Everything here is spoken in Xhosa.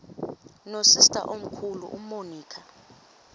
nosister omkhulu umonica